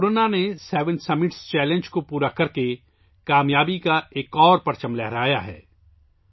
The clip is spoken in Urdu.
پورنا نے 'سیوین سمٹس چیلنج' کو مکمل کرکے کامیابی کا ایک اور پرچم لہرایا ہے